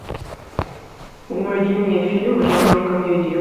найди мне фильм в жанре комедия